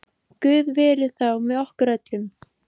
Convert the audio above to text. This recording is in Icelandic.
Guð veri þá með okkur öllum.